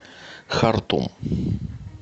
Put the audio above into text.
хартум